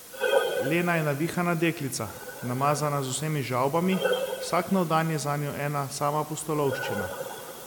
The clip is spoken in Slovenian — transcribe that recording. Lena je navihana deklica, namazana z vsemi žavbami, vsak nov dan je zanjo ena sama pustolovščina.